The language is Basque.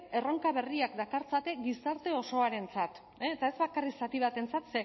erronka berriak dakartzate gizarte osoarentzat eta ez bakarrik zati batentzat